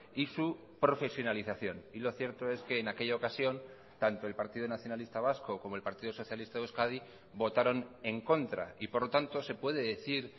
y su profesionalización y lo cierto es que en aquella ocasión tanto el partido nacionalista vasco como el partido socialista de euskadi votaron en contra y por lo tanto se puede decir